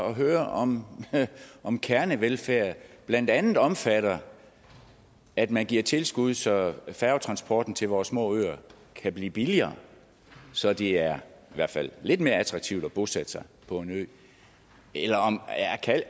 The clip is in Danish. at høre om om kernevelfærd blandt andet omfatter at man giver tilskud så færgetransporten til vores små øer kan blive billigere så det er i hvert fald lidt mere attraktivt bosætte sig på en ø